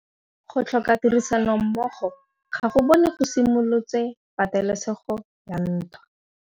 Go tlhoka tirsanommogo ga bone go simolotse patêlêsêgô ya ntwa.